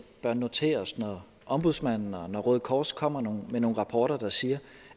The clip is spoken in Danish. bør notere os det når ombudsmanden og når røde kors kommer med nogle rapporter der siger